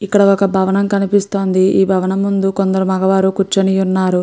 ఇక్కడ ఒక భవనం కనిపిస్తోంది. ఆ భవనం ముందు కొందరు మగవారు కూర్చుని ఉన్నారు.